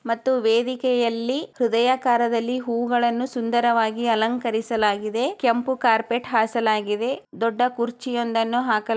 ಮತ್ತು ವೇದಿಕೆಯಲ್ಲಿ ಹೃದಯಕಾರದಲ್ಲಿ ಹೂಗಳನ್ನು ಸುಂದರವಾಗಿ ಅಲಂಕರಿಸಲಾಗಿದೆ-- ಕೆಂಪು ಕಾರ್ಪೆಟ್ ಹಾಸಲಾಗಿದೆ. ದೊಡ್ಡ ಕುರ್ಚಿಯೊಂದನ್ನು ಹಾಕಲಾ --